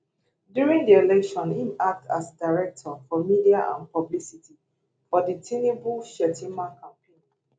during di election im act as director for media and publicity for di tinubu shettima campaign